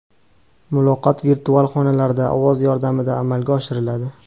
Muloqot virtual xonalarda ovoz yordamida amalga oshiriladi.